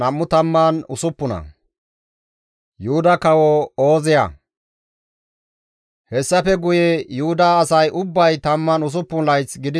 Hessafe guye Yuhuda asay ubbay 16 layth gidiza naa, Ooziya iza aawaa Amasiyaasa sohon kawoththides.